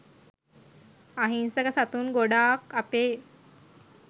අහිංසක සතුන් ගොඩාක් අපේ